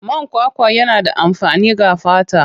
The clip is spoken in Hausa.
Man kwakwa yana da amfani ga fata.